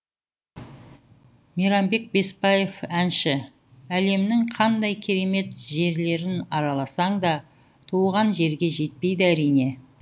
мейрамбек беспаев әнші әлемнің қандай керемет жерлерін араласаң да туған жерге жетпейді әрине